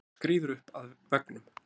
Hún skríður upp að veggnum.